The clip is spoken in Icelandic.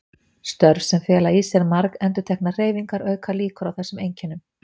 Störf sem fela í sér margendurteknar hreyfingar auka líkur á þessum einkennum.